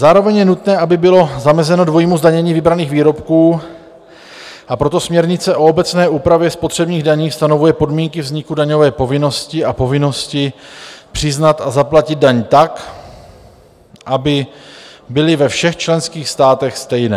Zároveň je nutné, aby bylo zamezeno dvojímu zdanění vybraných výrobků, a proto směrnice o obecné úpravě spotřebních daní stanovuje podmínky vzniku daňové povinnosti a povinnosti přiznat a zaplatit daň tak, aby byly ve všech členských státech stejné.